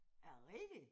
Er det rigtigt?